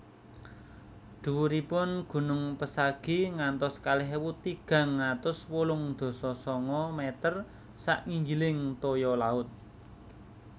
Dhuwuripun gunung Pesagi ngantos kalih ewu tigang atus wolung dasa sanga meter sak nginggiling toya laut